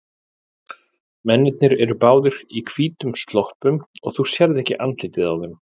Mennirnir eru báðir í hvítum sloppum og þú sérð ekki andlitið á þeim.